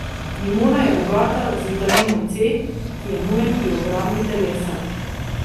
Limona je bogata z vitaminom C, ki je nujen pri obrambi telesa.